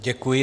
Děkuji.